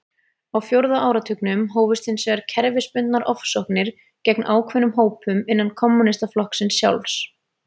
Á fjórða áratugnum hófust hins vegar kerfisbundnar ofsóknir gegn ákveðnum hópum innan kommúnistaflokksins sjálfs.